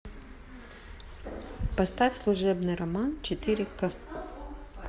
поставь служебный роман четыре ка